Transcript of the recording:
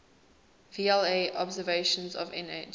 vla observations of nh